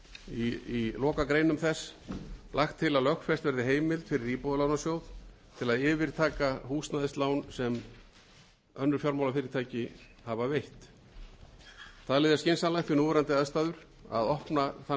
í lokagreinum þess lagt til að lögfest verði heimild fyrir íbúðalánasjóð til að yfirtaka húsnæðislán sem önnur fjármálafyrirtæki hafa veitt talið er skynsamlegt við núverandi aðstæður að opna þann